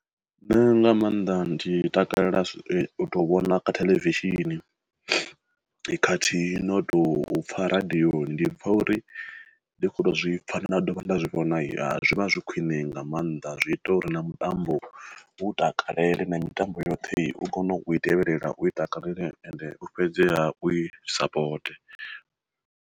Nṋe nga maanḓa ndi takalela u to vhona kha theḽevishini, khathihi no tou pfa radioni ndi pfa uri ndi kho to zwi pfha nda dovha nda na zwi vhona zwi khwine nga maanḓa zwi ita uri na mutambo u takalele na mitambo yoṱhe u kone u i tevhelela u takalele ende u fhedzeha u i sapote.